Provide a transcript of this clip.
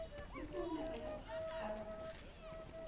le pounama ya go pharoga